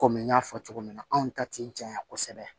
Kɔmi n y'a fɔ cogo min na anw ta ti janya kosɛbɛ